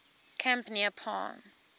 camp near palm